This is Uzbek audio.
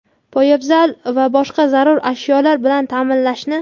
poyabzal va boshqa zarur ashyolar bilan taʼminlashni;.